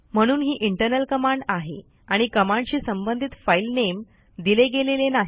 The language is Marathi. म्हणून ही इंटरनल कमांड आहे आणि कमांडशी संबंधित फाईल नेम दिले गेलेले नाही